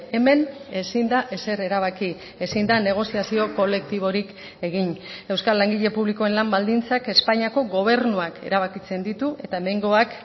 hemen ezin da ezer erabaki ezin da negoziazio kolektiborik egin euskal langile publikoen lan baldintzak espainiako gobernuak erabakitzen ditu eta hemengoak